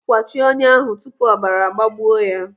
Kwachie ọnyá ahụ tupu ọbara agbagbuo ya!